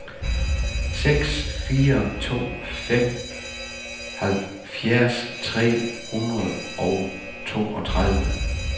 seks fire to fem halvfjerds tre hundrede og toogtredive